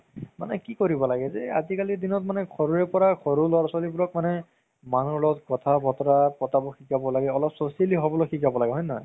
মানে কি কৰিব লাগে যে আজিকালি দিনত ঘৰৰে পৰা সৰু ল'ৰা ছোৱালিবোৰক মানে মানুহৰ লগত কথা বতৰা পতাব শিকাব লাগে অলপ হ'বলৈ শিকাব লাগে হয় নে নহয়